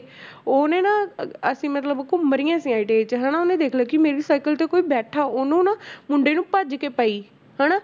ਉਹਨੇ ਨਾ ਅ~ ਅਸੀਂ ਮਤਲਬ ਘੁੰਮ ਰਹੀਆਂ ਸੀ ITI 'ਚ ਹਨਾ ਉਹਨੇ ਦੇਖ ਲਿਆ ਕਿ ਮੇਰੀ ਸਾਇਕਲ ਤੇ ਕੋਈ ਬੈਠਾ ਉਹਨੂੰ ਨਾ ਮੁੰਡੇ ਨੂੰ ਭੱਜ ਕੇ ਪਈ ਹਨਾ